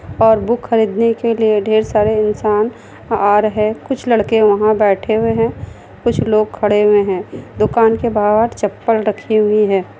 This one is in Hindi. और बुक खरीदने के लिए ढेर सारे इंसान आ रहे कुछ लड़के वहाँ बेठे हुए है कुछ लोग खड़े हुए है दुकान के बाहर चप्पल रखी हुई है।